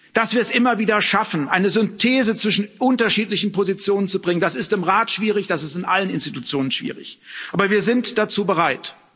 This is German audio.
Dass wir es immer wieder schaffen, eine Synthese zwischen unterschiedlichen Positionen zu bringen, das ist im Rat schwierig, das ist in allen Institutionen schwierig, aber wir sind dazu bereit.